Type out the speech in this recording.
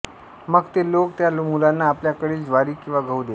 मग ते लोक त्या मुलांना आपल्याकडील ज्वारी किंवा गहू देत